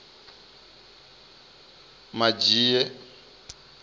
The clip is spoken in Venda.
madzhie